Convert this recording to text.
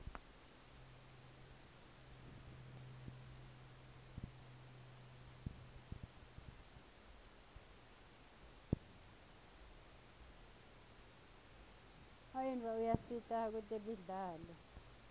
unyiotfo uyasita kwetemidlalo